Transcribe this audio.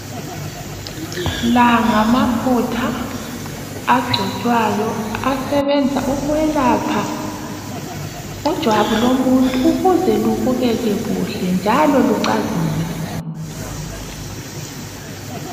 La ngamafutha agcotshwayo asebenza ukwelapha ijwabu lomuntu ukuze libukeke kuhle njalo licazimule.